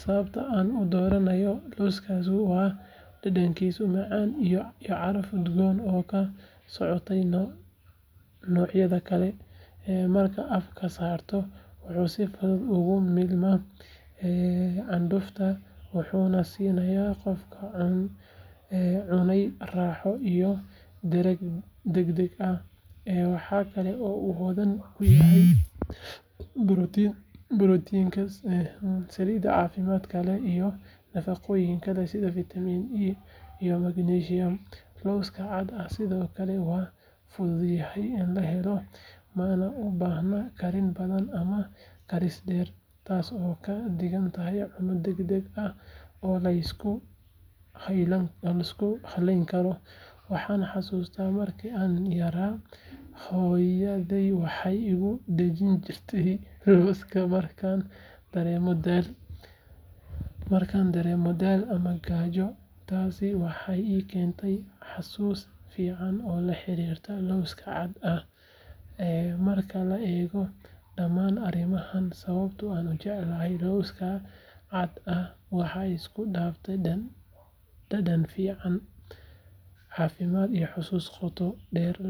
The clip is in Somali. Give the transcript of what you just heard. Sababta aan u doorbido lawskan waa dhadhankiisa macaan iyo caraf udgoon oo ka soocaya noocyada kale. Markaad afka saarto, wuxuu si fudud ugu milmaa candhuufta, wuxuuna siinayaa qofka cunaya raaxo iyo dhereg degdeg ah. Waxaa kale oo uu hodan ku yahay borotiin, saliid caafimaad leh, iyo nafaqooyin kale sida fiitamiin E iyo magnesium. Lawska cadka ah sidoo kale waa fududahay in la helo, mana u baahna karin badan ama karis dheer, taas oo ka dhigaysa cunno degdeg ah oo la isku halayn karo. Waxaan xasuustaa markii aan yaraa, hooyaday waxay igu dejin jirtay lawskan markaan dareemo daal ama gaajo, taasina waxay ii keentay xusuus fiican oo la xiriirta lawska cadka ah. Marka la eego dhamaan arrimahan, sababta aan u jecelahay lawska cadka ah waa isku dhafka dhadhan fiican, caafimaad, iyo xusuus qoto dheer leh.